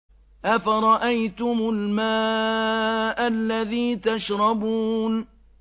أَفَرَأَيْتُمُ الْمَاءَ الَّذِي تَشْرَبُونَ